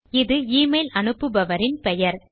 இது எமெயில் அனுப்புபவரின் பெயர்